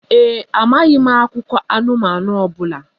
Ee e, amaghị m akụkọ anụmanụ ọ bụla